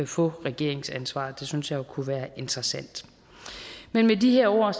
få regeringsansvaret det synes jeg jo kunne være interessant men med de her ord